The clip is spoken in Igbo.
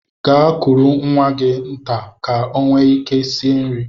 Gaa kuru nwanne gị nta ka m nwee ike sie nri!